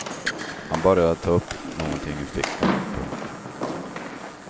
Han började ta upp någonting ur fickan. punkt